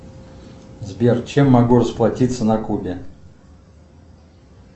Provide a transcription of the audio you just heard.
сбер чем могу расплатиться на кубе